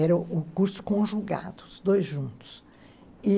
Era o curso conjugado, os dois juntos, e